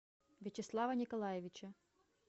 вячеслава николаевича